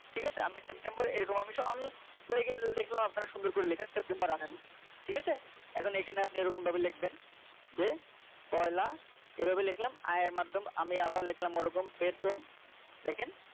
ঠিক আছে আমি september এরকম অবশ্য আমি দেখলাম আপনারা সুন্দর করে লেখেন september রাখেন ঠিক আছে এখন এখানে আপনি এরকম ভাবে লিখবেন যে পয়লা এভাবে লিখলাম আয়ের মাধ্যম আমি আবার দেখলাম ওরকম লেখেন